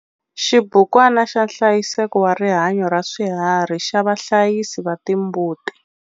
Xibukwana xa nhlayiseko wa rihanyo ra swiharhi xa vahlayisi va timbuti.